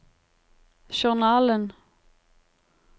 journalen